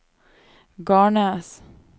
Garnes